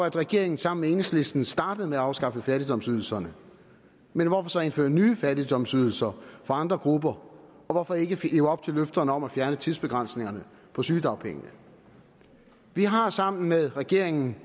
at regeringen sammen med enhedslisten startede med at afskaffe fattigdomsydelserne men hvorfor så indføre nye fattigdomsydelserne for andre grupper og hvorfor ikke leve op til løfterne om at fjerne tidsbegrænsningerne på sygedagpenge vi har sammen med regeringen